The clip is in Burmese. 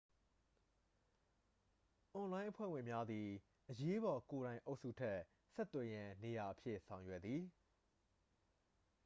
အွန်လိုင်းအဖွဲ့ဝင်များသည် အရေးပေါ်ကိုယ်တိုင်အုပ်စုအတွက် ဆက်သွယ်ရန်နေရာအဖြစ် ဆောင်ရွက်သည်